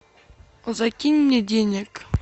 закинь мне денег